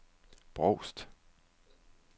Brovst